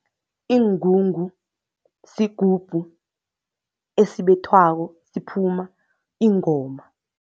Iingungu sigubhu esibethwako, siphuma ingoma.